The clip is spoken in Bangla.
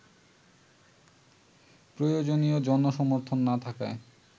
প্রয়োজনীয় জনসমর্থন না থাকায়